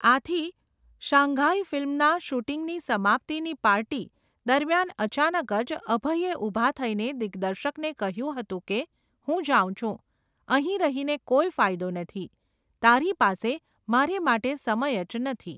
આથી 'શાંઘાઈ' ફિલ્મના શૂટિંગની સમાપ્તીની પાર્ટી, દરમિયાન અચાનક જ અભયે ઊભા થઈને દિગ્દર્શકને કહ્યું હતું કે હું જાઉં છું. અહીં રહીને કોઈ ફાયદો નથી. તારી પાસે મારે માટે સમય જ નથી.